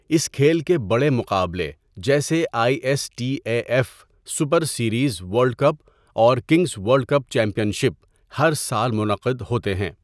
اس کھیل کے بڑے مقابلے جیسےآئی S T A F super series world cup اور kings world cup champion ہر سال منعقد ہوتے ہیں۔